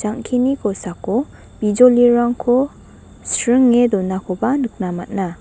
ang·keni kosako bijolirangko senge donakoba nikna man·a.